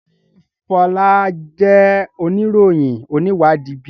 Ṣe Fola jẹ oniroyin oniwadi bi?